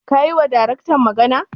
Ka yiwa Daraktan magana?